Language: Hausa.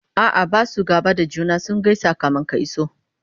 a'a Basu gaba da juna ,sun gaisa kamin ka iso